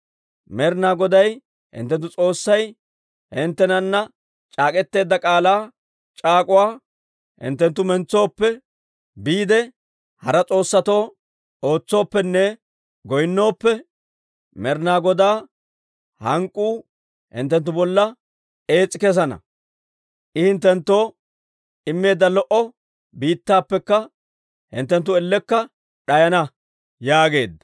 Med'ina Goday hinttenttu S'oossay hinttenana c'aak'k'eteedda k'aalaa c'aak'uwaa hinttenttu mentsooppe, biide hara s'oossatoo ootsooppenne goynnooppe, Med'ina Godaa hank'k'uu hinttenttu bolla ees's'i kessana; I hinttenttoo immeedda lo"o biittaappekka hinttenttu ellekka d'ayana» yaageedda.